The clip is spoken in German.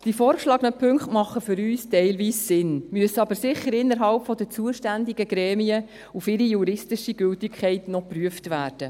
Die vorgeschlagenen Punkte machen für uns teilweise Sinn, müssen aber sicher innerhalb der zuständigen Gremien noch auf ihre juristische Gültigkeit hin geprüft werden.